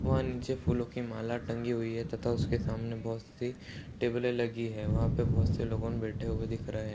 वहाँं नीचे फूलों की माला टंगी हुई है तथा उसके सामने बहुत सी टेबले लगी है। वहाँं पे बहुत से लोगन बैठे दिख रहे --